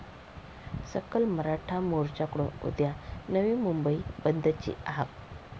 सकल मराठा मोर्च्याकडून उद्या नवी मुंबई बंदची हाक